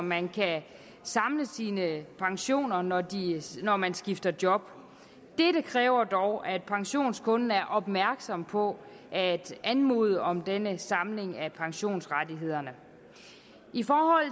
man kan samle sine pensioner når når man skifter job dette kræver dog at pensionskunden er opmærksom på at anmode om denne samling af pensionsrettighederne i forhold